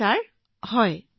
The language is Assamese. হয়হয়